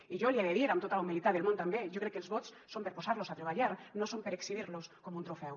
i jo li he de dir amb tota la humilitat del món també jo crec que els vots són per posar los a treballar no són per exhibir los com un trofeu